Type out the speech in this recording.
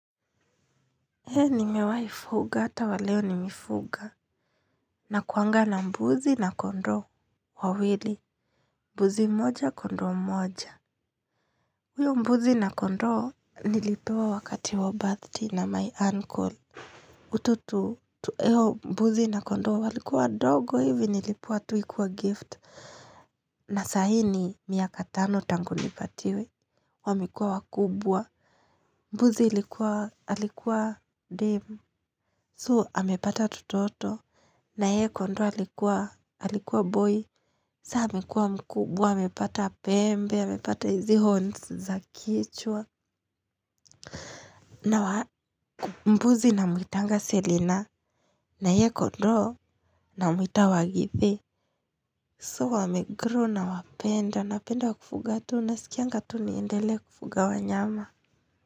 He nimewai fuga hata wa leo nimefuga. Nakuanga na mbuzi na kondoo wawili. Mbuzi mmoja kondoo mmoja. Uyo mbuzi na kondoo nilipewa wakati wa birthday na my uncle. Huto tu, mbuzi na kondoo walikuwa wadogo hivi nilipewa tu ikiwa gift. Na sahii ni miaka tano tangu nipatiwe. Wamekuwa wakubwa. Mbuzi ilikuwa, alikuwa dem Soo, amepata tutoto. Naye kondoo alikuwa boy, sasa amekuwa mkubwa, amepata pembe, amepata hizi horns za kichwa. Na wa mbuzi ninamwitanga selina, na ye kondoo ninamwita wagithi. So wame grow nawapenda, napenda kufuga tu, nasikianga tu niendelee kufuga wanyama.